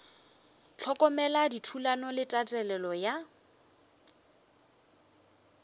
hlokomela dithulano le tatelelo ya